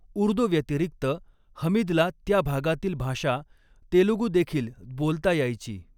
उर्दू व्यतिरिक्त हमीदला त्या भागातील भाषा, तेलगु देखील बोलता यायची.